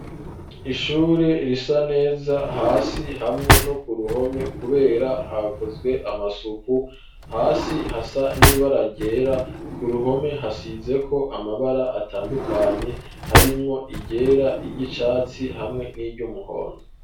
Ishure risa neza hasi hamwe no ku ruhome kubera hakozwe amasuku hasi hasa niba ragera ku ruhome hasize ko amabara atandukanye harimwo igera igicatsi hamwe n'ivy'umuhondo.